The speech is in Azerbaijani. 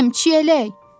Mənəm, Çiyələk.